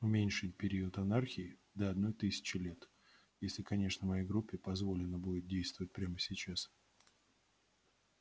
уменьшить период анархии до одной тысячи лет если конечно моей группе позволено будет действовать прямо сейчас